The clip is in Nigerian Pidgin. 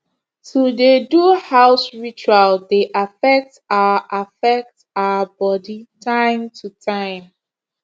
to dey do house ritual dey affect our affect our body time to time